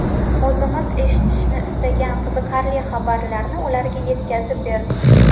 O‘zimiz eshitishni istagan qiziqarli xabarlarni ularga yetkazib berdik.